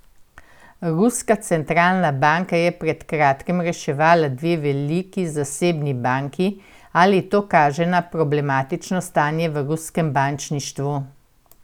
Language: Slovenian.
Ruska centralna banka je pred kratkim reševala dve veliki zasebni banki, ali to kaže na problematično stanje v ruskem bančništvu?